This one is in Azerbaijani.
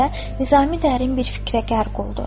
- dedikdə Nizami dərin bir fikrə qərq oldu.